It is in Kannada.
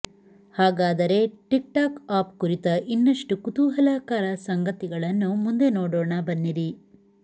ಹಾಗಾದರೇ ಟಿಕ್ಟಾಕ್ ಆಪ್ ಕುರಿತ ಇನ್ನಷ್ಟು ಕುತೂಹಲಕರ ಸಂಗತಿಗಳನ್ನು ಮುಂದೆ ನೋಡೋಣ ಬನ್ನಿರಿ